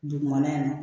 Dugumana in na